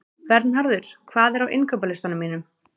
Vernharður, hvað er á innkaupalistanum mínum?